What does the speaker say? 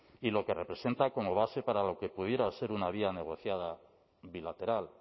y lo que representa como base para lo que pudiera ser una vía negociada bilateral